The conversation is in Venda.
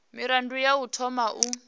mirado ya u thoma u